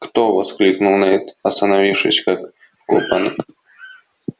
кто воскликнул найд остановившись как вкопанный